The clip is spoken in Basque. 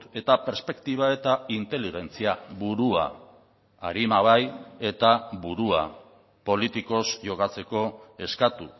eta perspektiba eta inteligentzia burua arima bai eta burua politikoz jokatzeko eskatu